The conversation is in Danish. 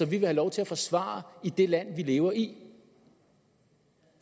vil have lov til at forsvare i det land vi lever i